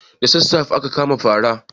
Da sassafe ake kamun fara.